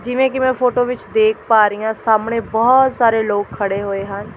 ਜਿਵੇਂ ਕਿ ਮੈਂ ਫੋਟੋ ਵਿਚ ਦੇਖ ਪਾ ਰਹੀਂ ਹਾਂ ਸਾਹਮਣੇ ਬਹੁਤ ਸਾਰੇ ਲੋਕ ਖੜ੍ਹੇ ਹੋਏ ਹਨ।